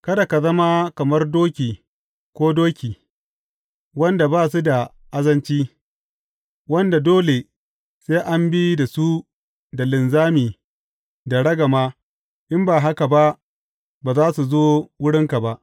Kada ka zama kamar doki ko doki, wanda ba su da azanci wanda dole sai an bi da su da linzami da ragama in ba haka ba, ba za su zo wurinka ba.